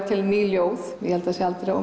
til ný ljóð ég held að það sé aldrei of